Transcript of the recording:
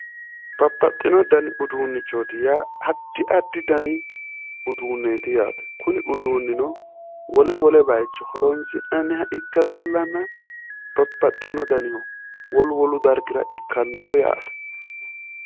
Babbaxxino dani udunnichooti yaa addi addi dani udunneeti yaate kuni uduunnino wole wole bayiicho horonsi'nanniha ikke leellanna babbaxxino danihu wolu wolu dargira ikkannoho yaate